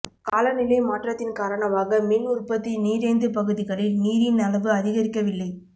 காலநிலை மாற்றத்தின் காரணமாக மின் உற்பத்தி நீரேந்து பகுதிகளில் நீரின் அளவு அதிகரிக்கவில்லை